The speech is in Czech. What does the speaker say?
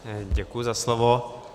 Děkuji za slovo.